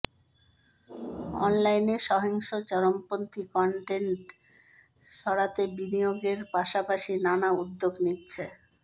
অনলাইনে সহিংস চরমপন্থী কনটেন্ট সরাতে বিনিয়োগের পাশাপাশি নানা উদ্যোগ নিচ্ছে